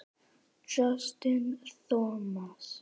Justin Thomas